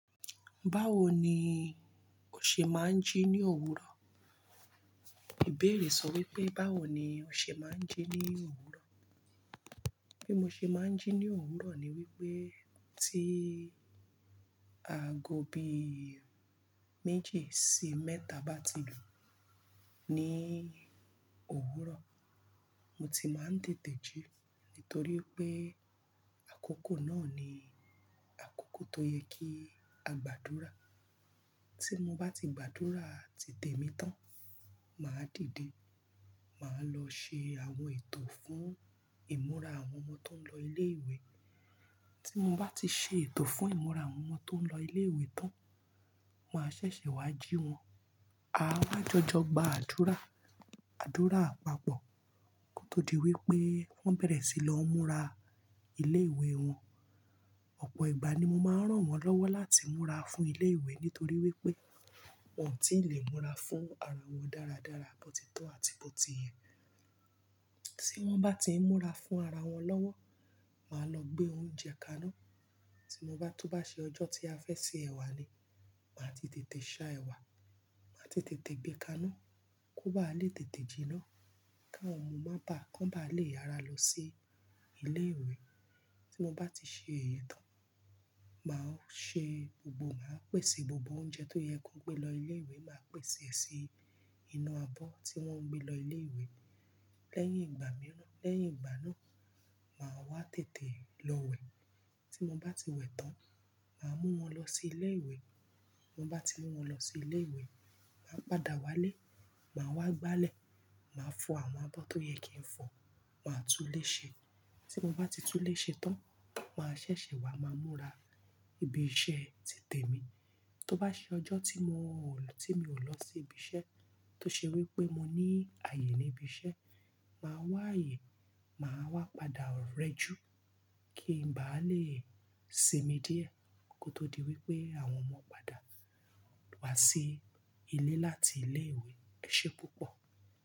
Báwo ni o ṣe máa ń jí ní òwúrọ̀? Ìbéèrè sọ wípé báwo ni o ṣe máa ń jí ní òwúrọ̀. Bí mo ṣe máa ń jí ní òwúrọ̀ ni wípé tí aago bí méjì sí mẹ́ta bá ti dùn ní òwúrọ̀, mo ti máa ń tètè jí nítorí pé àkókò náà ni àkókò tó yẹ kí a gbàdúrà. Tí mo bá ti gbàdúrà titẹ mi tán, màá dìde. Màá lọ ṣe àwọn ètò fún ìmúra àwọn ọmọ tó ń lọ ilé ìwé. Tí mo bá ti ṣe ètò fún ìmúra àwọn ọmọ tó ń lọ ilé ìwé tán, màá ṣẹ̀ṣẹ̀ wá jí wọn. A á wá jọjọ gba àdúrà, àdúrà àpapọ̀ kó tó di wípé wón bẹ̀rẹ̀ sí lọ múra ilé ìwé wọn. Ọ̀pọ̀ ìgbà ni mo máa ń ràn wón lọ́wọ́ láti múra fún ilé ìwé nítorí wípé wón ò tí lè múra fún ara wọn dáradára, bótitó àti bóti iyẹn. Tí wón bá ti ń múra fún ara wọn lọ́wọ́, màá lọ gbé oúnjẹ kaná. Tí mo bá tú bá ṣe ọjọ́ tí a fẹ́ ṣe ẹ̀wà le, màá ti tètè ṣá ẹwà, màá ti tètè gbé kaná kó bá lè tètè jiná, káwọn ọmọ má bá kán bá lè yára lọ sí ilé ìwé. Tí mo bá ti ṣe èyí tán, màá ṣe gbogbo, màá pèsè gbogbo oúnjẹ tó yẹ kó gbé lọ ilé ìwé, màá pèsè si inú abọ́ tí wón ń gbé lọ ilé ìwé. Lẹ́yìn ìgbà mìíràn, lẹ́yìn ìgbà náà, màá wá tètè lọ wẹ̀. Tí mo bá ti wẹ̀ tán, màá mú wọn lọ sí ilé ìwé. Mo bá ti mú wọn lọ sí ilé ìwé, màá padà wálé, màá wá gbálẹ̀, màá fọ àwọn abọ́ tó yẹ kí n fọ, màá tú léṣe. Tí mo bá ti tú léṣe tán, màá ṣẹ̀ṣẹ̀ wá, màá múra ibi iṣẹ́ ti tẹ̀ mí. Tó bá ṣe ọjọ́ tí mò, tí mi ò lọ sí ibi iṣẹ́ tó ṣe wípé mo ní ààyè ní ibi iṣẹ́, màá wá ààyè, màá wá padà rẹ́jú kí ń bá lè sinmi díẹ̀ kó tó di wípé àwọn ọmọ padà wá sí ilé láti ilé ìwé. Ẹ ṣe púpọ̀